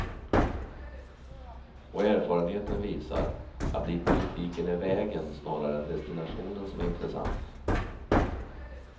Och erfarenheten visar att det i politiken är vägen snarare än destinationen som är intressant.